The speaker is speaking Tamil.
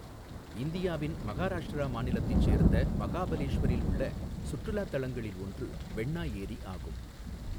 இந்தியாவின் மகாராஷ்டிரா மாநிலத்தைச் சேர்ந்த மகாபலேஷ்வரில் உள்ள சுற்றுலாத் தலங்களில் ஒன்று வெண்ணா ஏரி ஆகும்.